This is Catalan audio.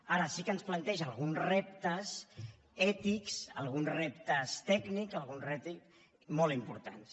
ara sí que ens planteja alguns reptes ètics alguns reptes tècnics molt importants